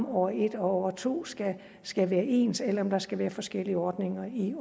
år et og år to skal skal være ens eller om der skal være forskellige ordninger i